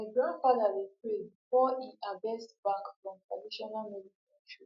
my grandfather dey pray before e harvest bark from traditional medicine tree